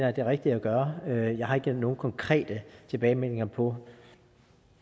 er det rigtige af gøre jeg har ikke nogen konkrete tilbagemeldinger på